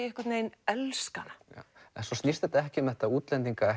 einhvern vegin elska hana nei en svo snýst þetta ekki um þetta útlendinga